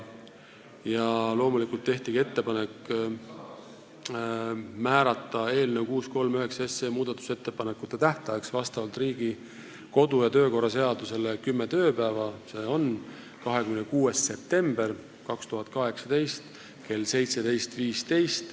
Loomulikult tehti ka ettepanek määrata eelnõu 639 muudatusettepanekute tähtajaks vastavalt Riigikogu kodu- ja töökorra seadusele kümme tööpäeva, s.o 26. september 2018 kell 17.15 .